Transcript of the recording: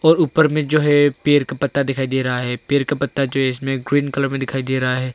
और ऊपर में जो है पेड़ का पत्ता दिखाई दे रहा है पेड़ का पत्ता जो है इसमें ग्रीन कलर में दिखाई दे रहा है।